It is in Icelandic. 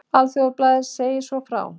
Alþýðublaðið sagði svo frá